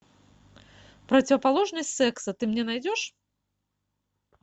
противоположность секса ты мне найдешь